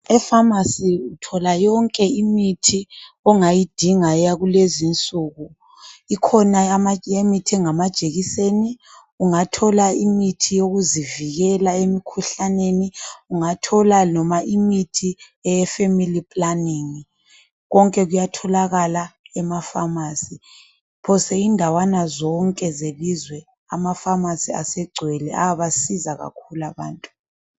Efamasi uthola yonke imithi ongayidinga yakulezinsuku, ikhona yama_ imithi engamajekiseni, ungathola imithi yokuzivikela emikhuhlaneni, ungathola noma imithi eyefamily planning konke kuyathokakala emafamasi, phose indawana zonke zelizwe amafamasi asegcwele ayabasiza kakhulu abantu.